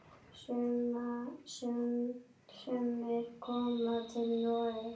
Sumir koma til Noregs.